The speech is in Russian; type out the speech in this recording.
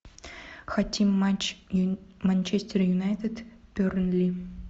хотим матч манчестер юнайтед бернли